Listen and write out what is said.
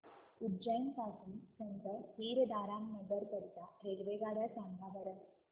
उज्जैन पासून संत हिरदाराम नगर करीता रेल्वेगाड्या सांगा बरं